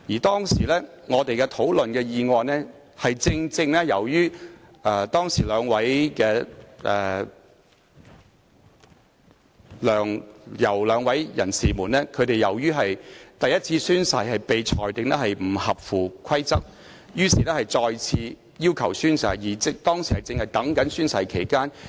當時我們討論的議案，正正關乎梁、游兩位人士因其第一次宣誓被裁定不合乎規則而要求再次宣誓一事，而當時正值等候宣誓期間。